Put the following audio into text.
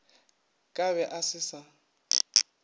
ka be a se sa